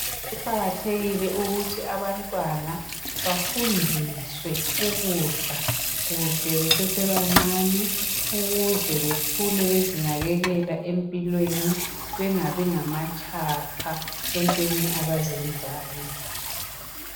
Kuqakathekile ukuthi abantwana bafundiswe ukudla kuhle besesebancane ukuze bakhulu bezinakekela empilweni bengabi ngamatshapha entweni abazenzayo .